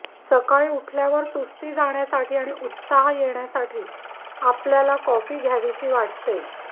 सकाळी उठवल्यावर सुस्ती जाण्यासाठी आणि उत्साह येण्यासाठी आपल्याला कॉफी घ्यावीशी वाटते